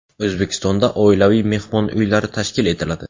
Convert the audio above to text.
O‘zbekistonda oilaviy mehmon uylari tashkil etiladi.